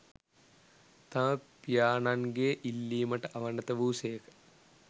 තම පියාණන්ගේ ඉල්ලීමට අවනත වූ සේක